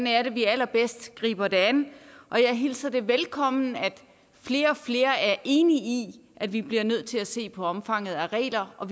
er at vi allerbedst griber det an og jeg hilser det velkommen at flere og flere er enige i at vi bliver nødt til at se på omfanget af regler og